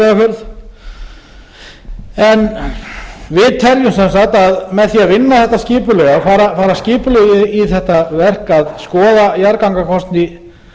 teljum sem sagt að með því að vinna þetta skipulega og fara skipulega í þetta verk að skoða jarðgangakosti